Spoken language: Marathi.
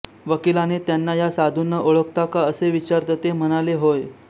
वकिलाने त्यांना या साधूंना ओळखता का असे विचारता ते म्हणाले होय